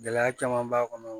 Gɛlɛya caman b'a kɔnɔ